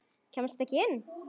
Kemstu ekki inn?